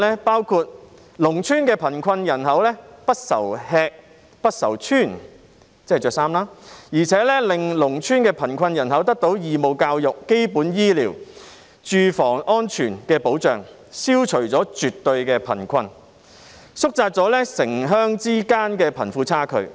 包括農村的貧困人口不愁吃、不愁穿，而且令農村的貧困人口得到義務教育、基本醫療及住房安全的保障，消除了絕對的貧困，縮窄了城鄉之間的貧富差距。